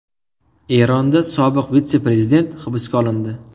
Eronda sobiq vitse-prezident hibsga olindi.